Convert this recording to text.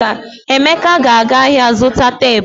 Emeka ga-aga ahịa zụta teepu.